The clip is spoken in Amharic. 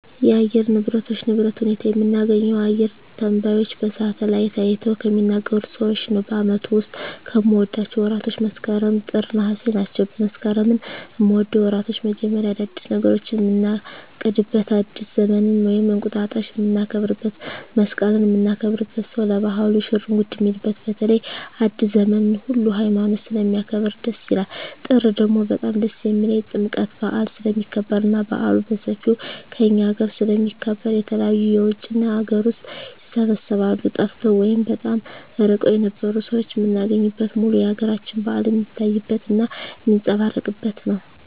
የአየር ንብረቶች ንብረት ሁኔታ የምናገኘው አየረ ተነባዩች በሳሀትአላይት አይተው ከሚናገሩት ሰዎች ነው በአመቱ ዉስጥ ከምወዳቸው ወራቶች መስከረም ጥር ነሃሴ ናቸው መስከረምን ምወደው የወራቶች መጀመሪያ አዳዲስ ነገሮችን ምናቅድበት አዲስ ዘመንን ወይም እንቁጣጣሽ ምናከብረው መሰቀልን ምናከብርበት ሰው ለባህሉ ሽርጉድ ሚልበት በተለይ አዲሰ ዘመንን ሁሉ ሀይማኖት ስለሚያከብር ደስ ይላል ጥር ደግሞ በጣም ደስ የሚልኝ ጥምቀት በአል ስለሚከበር እና በአሉ በሠፌው ከእኛ አገረ ስለሚከበር የተለያዩ የውጭ እና የአገር ውስጥ ይሰባሰባሉ ጠፍተው ወይም በጣም እርቀዉን የነበሩ ሠዎች ምናገኝበት ሙሉ የአገራችን በአል ሜታይበት እና ሜጸባረቅበት ነው